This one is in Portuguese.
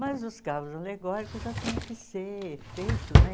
Mas os carros alegóricos já tinham que ser feito, né?